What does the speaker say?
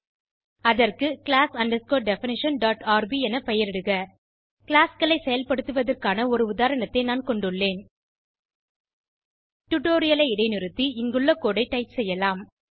அதற்கு class definitionrb என பெயரிடுக கிளாஸ் களை செயல்படுத்துவதற்கான ஒரு உதாரணத்தை நான் கொண்டுள்ளேன் டுடோரியலை இடைநிறுத்தி இங்குள்ள கோடு ஐ டைப் செய்யலாம்